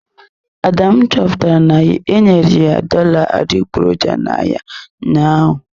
Adamu chọpụtara na-enyere ya dollar adịgboroja n'ahịa ụnyaahụ.